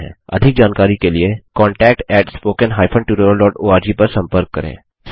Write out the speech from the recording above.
अधिक जानकारी के लिए contact spoken hyphen tutorial dot ORG पर संपर्क करें